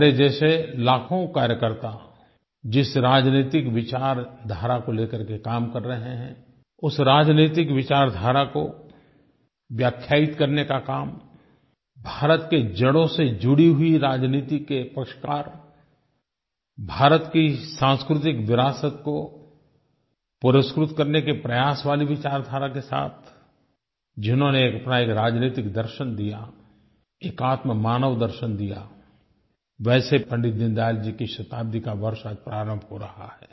मेरे जैसे लाखों कार्यकर्ता जिस राजनैतिक विचारधारा को लेकर के काम कर रहे हैं उस राजनैतिक विचारधारा को व्याख्यायित करने का काम भारत की जड़ों से जुड़ी हुई राजनीति के पक्षकार भारत की सांस्कृतिक विरासत को पुरस्कृत करने के प्रयास वाली विचारधारा के साथ जिन्होंने अपना एक राजनैतिक दर्शन दिया एकात्ममानव दर्शन दिया वैसे पंडित दीनदयाल जी की शताब्दी का वर्ष आज प्रारंभ हो रहा है